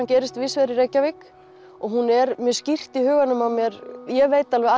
gerist víðvegar í Reykjavík og hún er mjög skýrt í huganum á mér ég veit alveg